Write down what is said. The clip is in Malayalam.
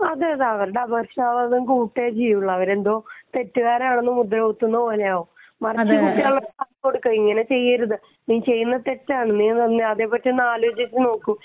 അവരുടെ അപകർഷതാബോധം കൂടുകയേ ചെയ്യുള്ളൂ അവരെന്തോ തെറ്റുകാരാണെന്നു മുദ്ര കുത്തുന്നത് പോലെയാവും കുട്ടികൾക്ക് ഇങ്ങനെ നിർദ്ദേശം കൊടുക്കാം നീ ഇങ്ങനെ ചെയ്യാരുത് ഇങ്ങനെ ചെയ്യുന്നത് തെറ്റാണു നീ അതേപ്പറ്റി ഒന്ന് ആലോചിച്ചു നോക്ക്